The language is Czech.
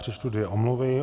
Přečtu dvě omluvy.